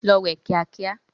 Lọ wẹ̀ kíá kíá!